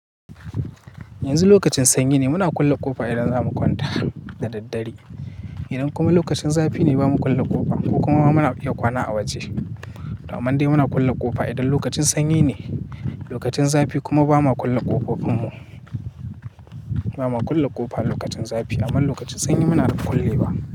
Yanzu lokacin sanyi ne muna kulle ƙofa idan za mu kwanta da daddare. Idan kuma lokacin zafi ne ba mu kulle ƙofa ko kuma muna iya kwana a waje. Toh aman dai muna kulle ƙofa idan lokacin sanyi ne, lokacin zafi kuma ba ma kulle ƙofofin mu. Ba ma kulle ƙofa lokacin zafi aman lokacin sanyi muna kullewa.